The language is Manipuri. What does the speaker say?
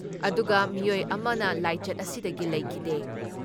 ꯑꯗꯨꯒ ꯃꯤꯑꯣꯏ ꯑꯃꯅ ꯂꯥꯏꯆꯠ ꯑꯁꯤꯗꯒꯤ ꯂꯩꯈꯤꯗꯦ ꯫